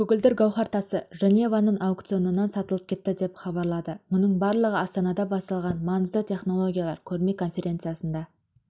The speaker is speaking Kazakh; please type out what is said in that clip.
көгілдір гауһар тасы женеваның аукционынан сатылып кетті деп хабарлады мұның барлығы астанада басталған маңызды технологиялар көрме-конференциясында